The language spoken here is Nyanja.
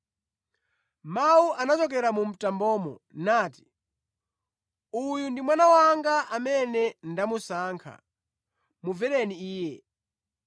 Mawu anachokera mu mtambomo nati, “Uyu ndi Mwana wanga amene ndamusankha; mumvereni Iye.”